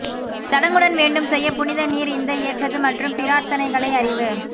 சடங்குடன் வேண்டும் செய்ய புனித நீர் இந்த ஏற்றது மற்றும் பிரார்த்தனைகளை அறிவு